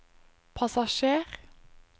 passasjer